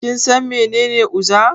Kinsan mene uza?